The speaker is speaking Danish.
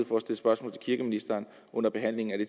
for at stille spørgsmål til kirkeministeren under behandlingen af det